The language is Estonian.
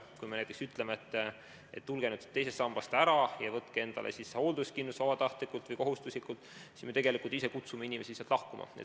Kui me näiteks ütleme, et tulge nüüd teisest sambast ära ja võtke endale hoolduskindlustus vabatahtlikult või kohustuslikult, siis me tegelikult ise kutsume inimesi sealt lahkuma.